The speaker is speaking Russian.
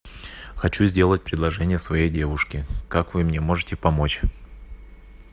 хочу сделать предложение своей девушке как вы мне можете помочь